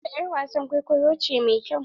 Nafisa yar wasan kwaikwayo mai kyau ce.